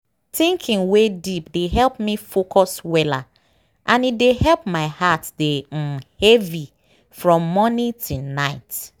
thinking wey deep dey help me focus weller and e dey help my heart dey um heavy from morning till night.